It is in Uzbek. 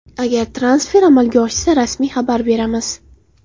Agar transfer amalga oshsa, rasmiy xabar beramiz.